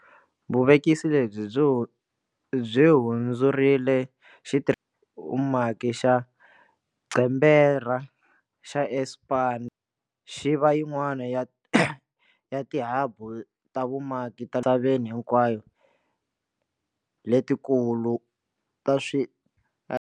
Vuvekisi lebyi byi hundzurile xa vumaki xa Gqeberha xa Aspen xi va yin'wana ya tihabu ta vumaki ta le misaveni hinkwayo leti kulu ta swi.